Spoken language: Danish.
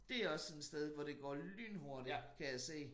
Dét også sådan et sted hvor det går lynhurtigt kan jeg se